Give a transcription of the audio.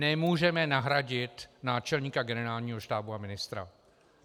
Nemůžeme nahradit náčelníka Generálního štábu a ministra.